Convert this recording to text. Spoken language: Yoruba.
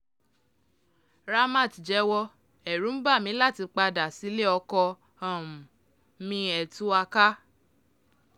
ramat jẹ́wọ́ ẹ̀rù ń bà mí láti padà padà sílé-ọkọ um mi ẹ̀ tú wa ká um